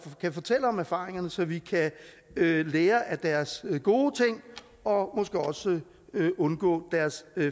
kan fortælle om erfaringerne så vi kan lære af deres gode ting og måske også undgå deres